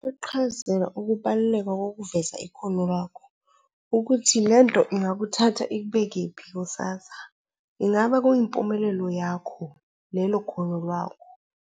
Iqhazela ukubaluleka kokuveza ikholo lakho ukuthi lento ingakuthatha ikubekephi kusasa. Ingaba kuyimpumelelo yakho lelo kholo lwakho.